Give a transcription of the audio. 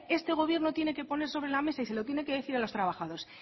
este gobierno tiene que poner sobre la mesa y se lo tiene que decir a los trabajadores